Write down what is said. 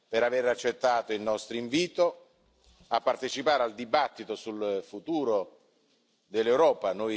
per aver accettato il nostro invito a partecipare al dibattito sul futuro dell'Europa.